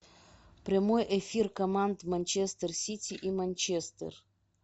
прямой эфир команд манчестер сити и манчестер